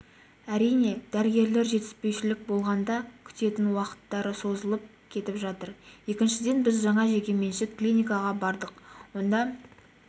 әрине дәрігерлер жетіспеушілік болғанда күтетін уақыттары созылып кетіп жатыр екіншіден біз жаңа жекеменшік клиникаға бардық онда